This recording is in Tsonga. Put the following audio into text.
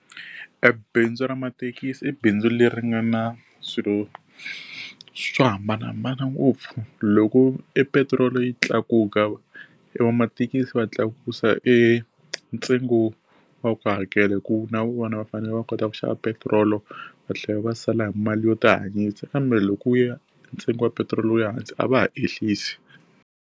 Ebindzu ra mathekisi i bindzu leri nga na swilo swo hambanahambana ngopfu. Loko epetiroli yi tlakuka evamathekisi va tlakusa e ntsengo wa ku hakela hikuva na vona va fanele va kota ku xava petiroli va tlhela va sala hi mali yo tihanyisa kambe loko wu ya ntsengo wa petirolo wu ya hansi, a va ha ehlisi.